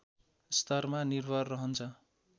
स्तरमा निर्भर रहन्छ